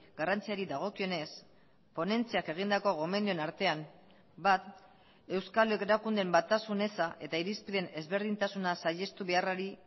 garrantziari dagokionez ponentziak egindako gomendioen artean bat euskal erakundeen batasun eza eta irizpideen ezberdintasuna saihestu beharrari